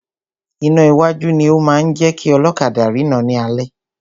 Iná iwájú ni o máa ń jẹ́ kí ọlọ́kadà rina ni alẹ́.